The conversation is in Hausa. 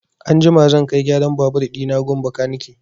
Anjima zan kai gyaran babur ɗina gun bakanike.